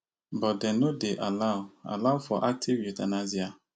but dem no dey allow allow for active euthanasia